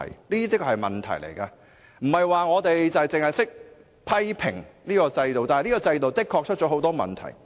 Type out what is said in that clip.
不是我們只想批評現行制度，而是現行制度的確有很多問題。